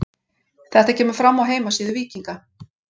Þetta kemur fram á heimasíðu Víkinga.